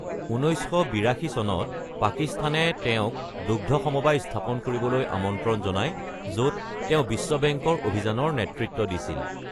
1982 চনত, পাকিস্তানে তেওঁক দুগ্ধ সমবায় স্থাপন কৰিবলৈ আমন্ত্ৰণ জনায়, য'ত তেওঁ বিশ্ব বেংকৰ অভিযানৰ নেতৃত্ব দিছিল।